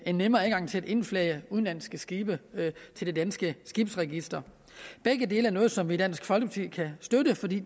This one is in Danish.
en nemmere adgang til at indflage udenlandske skibe til det danske skibsregister begge dele er noget som vi i dansk folkeparti kan støtte fordi